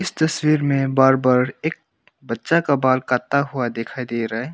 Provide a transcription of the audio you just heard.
तस्वीर में बार्बर एक बच्चा का बाल काटता हुआ दिखाई दे रहा है।